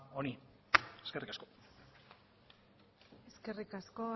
honi eskerrik asko eskerrik asko